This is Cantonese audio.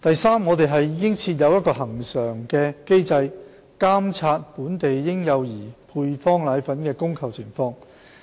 三我們已設有恆常機制監察本地嬰幼兒配方粉的供求情況。